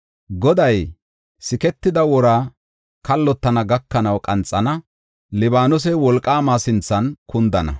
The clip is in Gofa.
Goday siketida wora kallotana gakanaw qanxana; Libaanosey Wolqaamaa sinthan kundana.